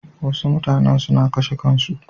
Wasu mutanen suna kashe kansu.